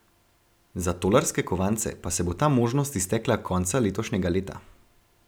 Za tolarske kovance pa se bo ta možnost iztekla konca letošnjega leta.